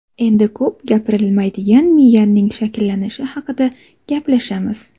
Endi ko‘p gapirilmaydigan miyaning shakllanishi haqida gaplashamiz.